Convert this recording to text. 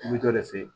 U bɛ dɔ de fe yen